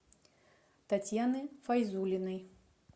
татьяны файзуллиной